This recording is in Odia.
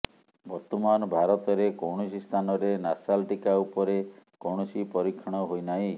ବର୍ତ୍ତମାନ ଭାରତରେ କୌଣସି ସ୍ଥାନରେ ନାସାଲ୍ ଟିକା ଉପରେ କୌଣସି ପରୀକ୍ଷଣ ହୋଇନାହିଁ